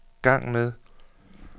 gang med